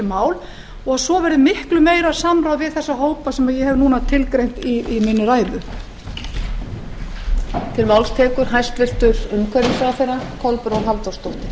mál og svo verði miklu meira samráð við þessa hópa sem ég hef núna tilgreint í minni ræðu